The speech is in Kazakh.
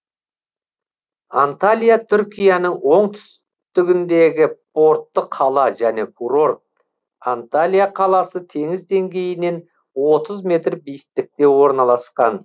анталия түркияның оң түс тігіндегі портты қала және курорт анталия қаласы теңіз деңгейінен отыз метр биіктікте орналасқан